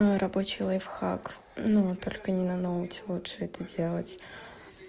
рабочий лайфхак ну только не на ноутбуке лучше это делать